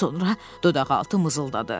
Sonra dodaqaltı mızıldadı.